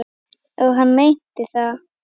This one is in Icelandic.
Og hann meinti það.